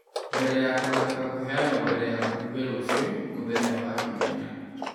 mbere ya kũhoteka kũneanwo mbere ya mbunge rũciũ (Mũthenya wa Kiumia).